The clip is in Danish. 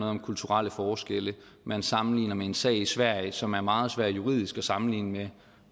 om kulturelle forskelle man sammenligner med en sag i sverige som er meget svær juridisk at sammenligne